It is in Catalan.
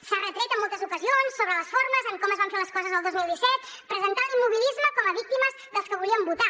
s’ha retret en moltes ocasions sobre les formes en com es van fer les coses el dos mil disset presentant l’immobilisme com a víctimes dels que volíem votar